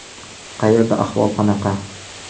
Qayerda ahvol qanaqa?